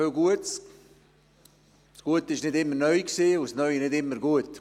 Das Gute war nicht immer neu, und das Neue nicht immer gut.